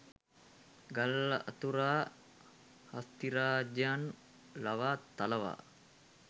ගල් අතුරා හස්තිරාජයන් ලවා තලවා